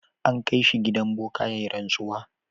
An kai shi gidan boka ya yi rantsuwa.